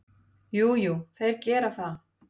Jú, jú, þeir gera það.